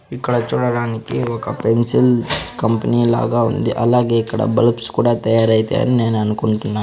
ఇక్కడ చూడడానికి ఒక పెన్సిల్ కంపెనీ లాగా ఉంది అలాగే ఇక్కడ బల్బ్స్ కూడా తయారు అయితాయని నేను అనుకుంటున్నాను.